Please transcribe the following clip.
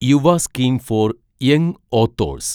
Yuva scheme for young authors